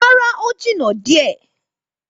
Rárá, ó jìnnà díẹ̀.